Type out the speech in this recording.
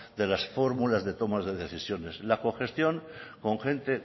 de las fórmulas de tomas de decisiones la cogestión con gente